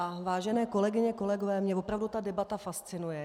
A vážené kolegyně, kolegové, mě opravdu ta debata fascinuje.